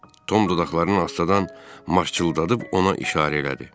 Tom dodaqlarını astadan maqçıldadıb ona işarə elədi.